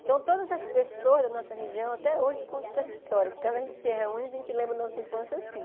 Então, todas as pessoas da nossa região, até hoje, contam essa história, porque quando a gente se reúne, a gente lembra da nossa infância assim.